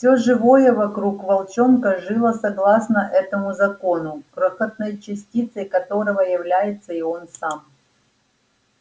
всё живое вокруг волчонка жило согласно этому закону крохотной частицей которого является и он сам